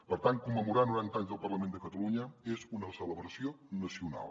per tant commemorar noranta anys del parlament de catalunya és una celebració nacional